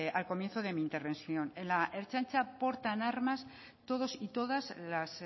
al comienzo de mi intervención en la ertzaintza portan armas todos y todas las